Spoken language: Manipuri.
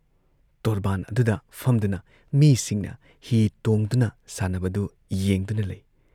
ꯇꯣꯔꯕꯥꯟ ꯑꯗꯨꯗ ꯐꯝꯗꯨꯅ ꯃꯤꯁꯤꯡꯅ ꯍꯤ ꯇꯣꯡꯗꯨꯅ ꯁꯥꯟꯅꯕꯗꯨ ꯌꯦꯡꯗꯨꯅ ꯂꯩ ꯫